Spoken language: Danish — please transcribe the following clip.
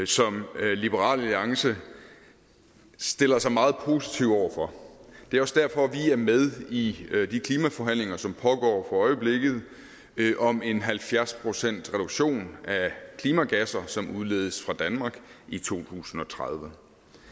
som liberal alliance stiller sig meget positivt over for det er også derfor vi er med i de klimaforhandlinger som pågår for øjeblikket om en halvfjerds procentsreduktion af klimagasser som udledes fra danmark i to tusind og tredive